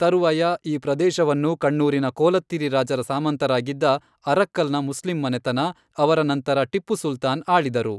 ತರುವಾಯ, ಈ ಪ್ರದೇಶವನ್ನು ಕಣ್ಣೂರಿನ ಕೋಲತ್ತಿರಿ ರಾಜರ ಸಾಮಂತರಾಗಿದ್ದ ಅರಕ್ಕಲ್ನ ಮುಸ್ಲಿಂ ಮನೆತನ, ಅವರ ನಂತರ ಟಿಪ್ಪು ಸುಲ್ತಾನ್ ಆಳಿದರು.